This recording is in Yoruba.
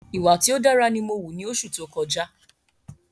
Ìwà tí ó dára ni mó wù ni oṣù tó kọjá